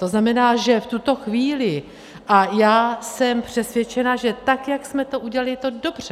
To znamená, že v tuto chvíli, a já jsem přesvědčena, že tak jak jsme to udělali, je to dobře.